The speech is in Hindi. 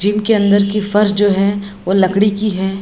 जिम के अंदर की फ़र्श जो है वो लकड़ी की है।